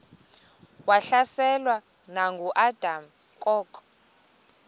wahlaselwa nanguadam kok